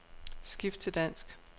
Skift til dansk.